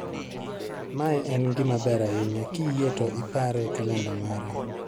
Mae en gima ber ahinya, kiyie to ipare e kalenda mara